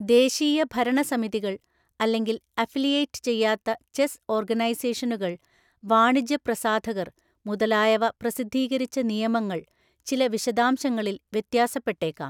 ദേശീയ ഭരണ സമിതികൾ, അല്ലെങ്കിൽ അഫിലിയേറ്റ് ചെയ്യാത്ത ചെസ്സ് ഓർഗനൈസേഷനുകൾ, വാണിജ്യ പ്രസാധകർ മുതലായവ പ്രസിദ്ധീകരിച്ച നിയമങ്ങൾ ചില വിശദാംശങ്ങളിൽ വ്യത്യാസപ്പെട്ടേക്കാം.